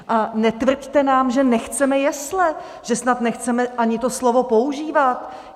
A netvrďte nám, že nechceme jesle, že snad nechceme ani to slovo používat.